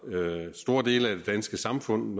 store dele af det danske samfund